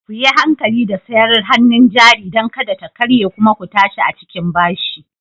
Kuyi hankali da sayar hannun jari don kada ta karye kuma ku tashi a cikin bashi